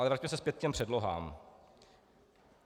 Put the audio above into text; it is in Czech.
Ale vraťme se zpět k těm předlohám.